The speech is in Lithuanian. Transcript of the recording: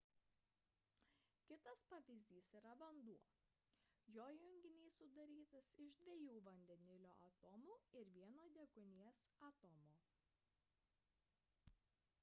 kitas pavyzdys yra vanduo jo junginys sudarytas iš dviejų vandenilio atomų ir vieno deguonies atomo